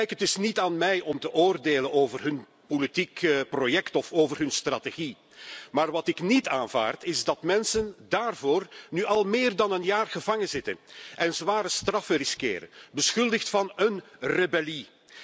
Het is niet aan mij om te oordelen over hun politieke project of hun strategie, maar wat ik niet aanvaard is dat mensen daarvoor nu al meer dan een jaar gevangenzitten en zware straffen riskeren, beschuldigd van een rebellie.